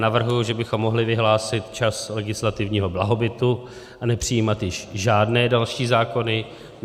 Navrhuji, že bychom mohli vyhlásit čas legislativního blahobytu a nepřijímat již žádné další zákony.